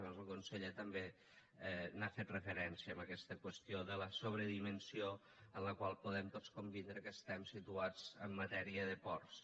abans el conseller també hi ha fet referència a aquesta qüestió de la sobredimensió en la qual podem tots convindre que estem situats en matèria de ports